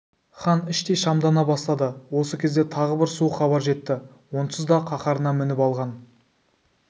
хан іштей шамдана бастады осы кезде тағы бір суық хабар жетті онсыз да қаһарына мініп алған